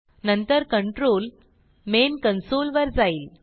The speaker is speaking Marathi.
नंतर कंट्रोल मेन कन्सोल वर जाईल